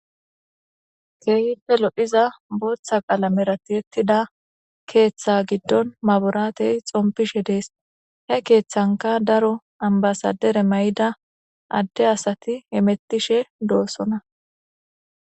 keehpe lodhiza booththa qalameratietida keeththa giddon maburaatey xompishe dees he keeththanka daro ambasadere may7ida adde asati emettishe doossona